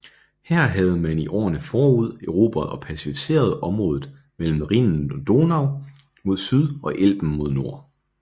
Her havde man i årene forud erobret og pacificeret området mellem Rhinen og Donau mod syd og Elben mod nord